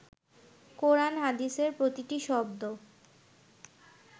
কোরান হাদিসের প্রতিটি শব্দ